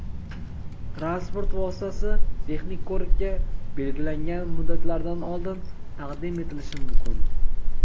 transport vositasi texnik ko‘rikka belgilangan muddatlardan oldin taqdim etilishi mumkin.